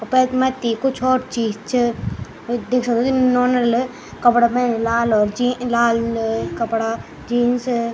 अपर मथ्थी और चीज च वू देख सक्दिन नौना ले कपड़ा पैरीं लाल और जी लाल अ कपड़ा जीन्स ।